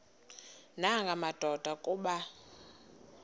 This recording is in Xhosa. nanga madoda kuba